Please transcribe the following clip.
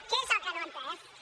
què és el que no ha entès ments